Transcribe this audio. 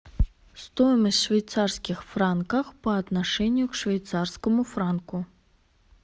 стоимость швейцарских франков по отношению к швейцарскому франку